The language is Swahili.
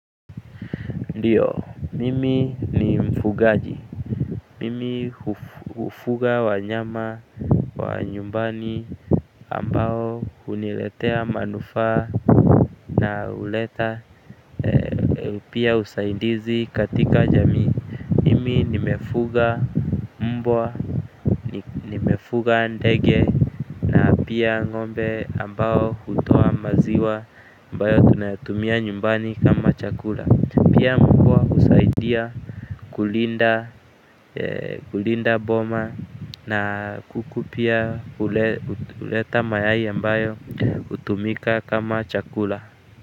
Ndio, mimi ni mfugaji. Mimi hufuga wanyama wa nyumbani, ambao huniletea manufaa na huleta pia usaidizi katika jamii. Mimi nimefuga mbwa, nimefuga ndege, na pia ng'ombe ambao hutoa maziwa ambayo tunayatumia nyumbani kama chakula. Na kuku pia huleta mayai ambayo hutumika kama chakula.